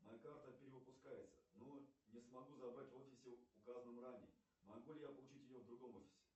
моя карта перевыпускается но не смогу забрать в офисе указанном ранее могу ли я получить ее в другом офисе